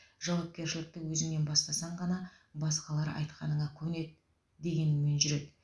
жауапкершілікті өзіңнен бастасан ғана басқалар айтқанына көнеді дегеніңмен жүреді